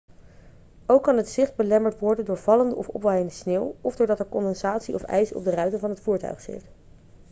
ook kan het zicht belemmerd worden door vallende of opwaaiende sneeuw of doordat er condensatie of ijs op de ruiten van het voertuig zit